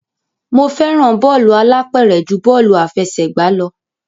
Mo fẹ́ràn bọ́ọ̀lù alápẹ̀rẹ̀ ju bọ́ọ̀lù àfẹsẹ̀gbá lọ.